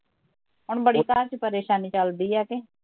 ਹੁਣ ਬੜੀ ਘਰ ਚ ਪਰੇਸ਼ਾਨੀ ਚਲਦੀ ਐ ਕਿ